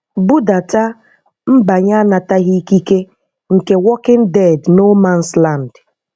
Budata mbanye anataghị ikike nke Walking Dead No Mans Land.